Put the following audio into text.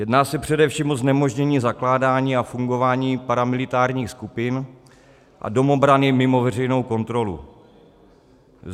Jedná se především o znemožnění zakládání a fungování paramilitárních skupin a domobrany mimo veřejnou kontrolu.